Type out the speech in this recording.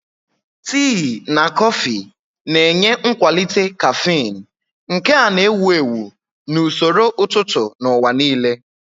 Tii na kọfị na-enye nkwalite caffeine, nke a na-ewu ewu na usoro ụtụtụ n'ụwa nile.